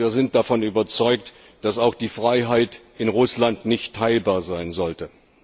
Denn wir sind davon überzeugt, dass die Freiheit auch in Russland nicht teilbar sein sollte.